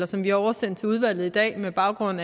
som vi oversendte til udvalget i dag med baggrund